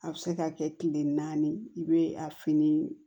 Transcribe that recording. A bɛ se ka kɛ kile naani i bɛ a fini